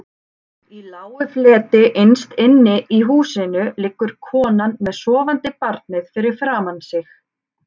Í lágu fleti innst inni í húsinu liggur konan með sofandi barnið fyrir framan sig.